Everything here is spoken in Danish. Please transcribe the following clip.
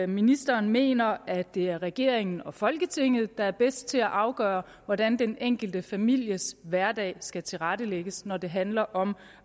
ministeren mener at det er regeringen og folketinget der er bedst til at afgøre hvordan den enkelte families hverdag skal tilrettelægges når det handler om